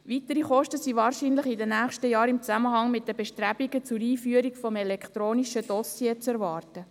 Weitere Kosten sind wahrscheinlich in den nächsten Jahren im Zusammenhang mit den Bestrebungen zur Einführung des elektronischen Dossiers zu erwarten.